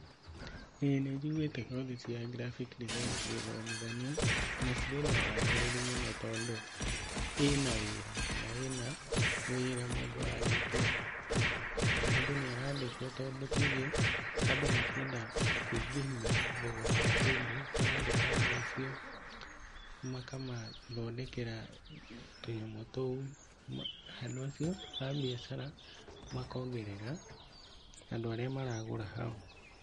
ĩĩ nĩ njigũĩte kothi cia graphic design cigĩthomithanio na cirĩ na wagĩrĩru mũno tondũ ĩna wĩra kana ĩna wĩra mũndũ arĩkia mũndũ nĩarandĩkwo tondũ nĩ tuuge andũ makĩenda kũingĩhia thogora wa kĩndũ, marandĩka andũ acio makamathondekera tũnyamũ tũu, andũ acio a mbiacara makongerera andũ arĩa maragũra hau.